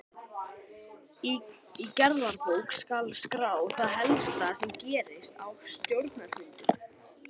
Í gerðabók skal skrá það helsta sem gerist á stjórnarfundum.